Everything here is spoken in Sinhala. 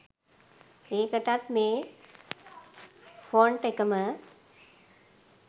ඒකටත් මේ ෆොන්ට් එකම